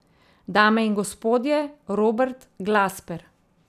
Dame in gospodje, Robert Glasper.